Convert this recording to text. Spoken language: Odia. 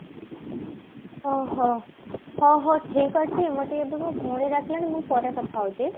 ଓଃ ହୋ ଓ ହଉ ଠିକ ଅଛି ମୋର ଟିକେ ଏବେ ମୋ ଭଉଣୀ ଡାକିଲାଣି ମୁଁ ପରେ କଥା ହଉଛି